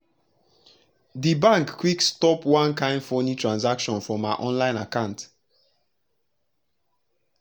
d bank quick stop one kain funi transaction from her online akant